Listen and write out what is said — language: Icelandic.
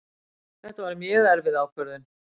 Þetta var mjög erfið ákvörðun